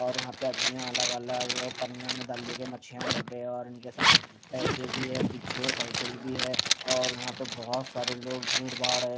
और यहाँ पे आदमी अलग अलग पनिया में डाल लेके मछिया बेटे है और इनके सामने पेसे भी है पीछे साईकल भी है और यहाँ पे बोहोत सारे लोग भीड़ भाड है।